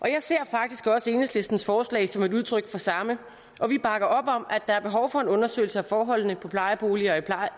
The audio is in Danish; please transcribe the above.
jeg ser faktisk også enhedslistens forslag som udtryk for samme og vi bakker op om at der er behov for en undersøgelse af forholdene i plejeboliger